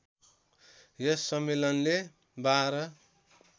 यस सम्मेलनले १२